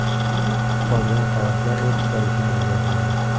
Qolgan qavatlar ofislar uchun ajratiladi.